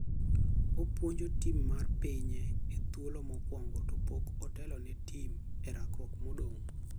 Opuonjo tim mar pinye e thuolo mokwongo to pok otelo ne tim e rakruok madongo.